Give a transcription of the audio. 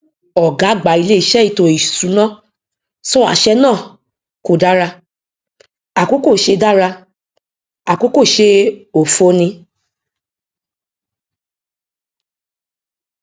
ọgá àgbà ilé ìṣe ètò ìsúná sọ àṣẹ náà kò dára àkókò ṣe dára àkókò ṣe òfo ni